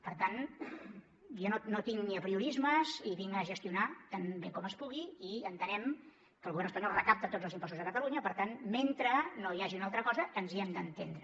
per tant jo no tinc apriorismes i vinc a gestionar tan bé com es pugui i entenem que el govern espanyol recapta tots els impostos a catalunya per tant mentre no hi hagi una altra cosa ens hi hem d’entendre